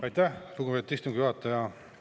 Aitäh, lugupeetud istungi juhataja!